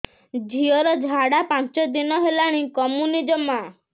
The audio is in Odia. ଝିଅର ଝାଡା ପାଞ୍ଚ ଦିନ ହେଲାଣି କମୁନି ଜମା